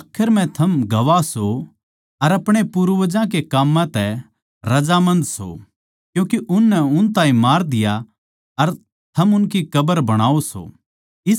आखर म्ह थम गवाह सो अर अपणे पूर्वजां कै काम्मां तै रजामंद सो क्यूँके उननै उन ताहीं मार दिया अर थम उनकी कब्र बणाओ सो